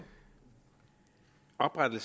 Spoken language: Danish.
er det